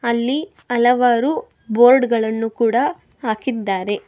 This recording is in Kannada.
ಅಲ್ಲಿ ಹಲವಾರು ಬೋರ್ಡ್ ಗಳನ್ನು ಕೂಡ ಹಾಕಿದ್ದಾರೆ.